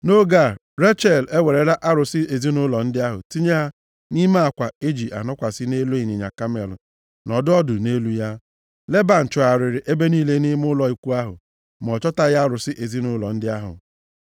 Nʼoge a, Rechel ewerela arụsị ezinaụlọ ndị ahụ tinye ha nʼime akwa e ji anọkwasị nʼelu ịnyịnya kamel nọdụ ọdụ nʼelu ya. Leban chọgharịrị ebe niile nʼime ụlọ ikwu ahụ ma ọ chọtaghị arụsị ezinaụlọ ndị ahụ.